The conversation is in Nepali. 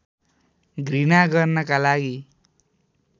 घृणा गर्नका लागि